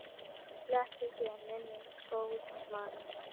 Blessuð sé minning góðs manns.